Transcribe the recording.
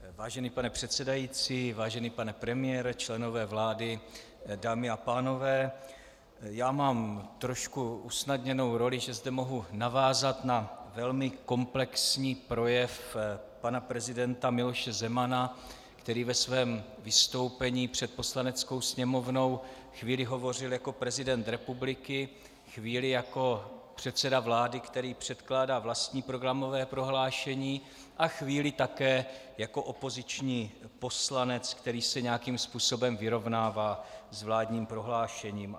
Vážený pane předsedající, vážený pane premiére, členové vlády, dámy a pánové, já mám trošku usnadněnou roli, že zde mohu navázat na velmi komplexní projev pana prezidenta Miloše Zemana, který ve svým vystoupení před Poslaneckou sněmovnou chvíli hovořil jako prezident republiky, chvíli jako předseda vlády, který předkládá vlastní programové prohlášení, a chvíli také jako opoziční poslanec, který se nějakým způsobem vyrovnává s vládním prohlášením.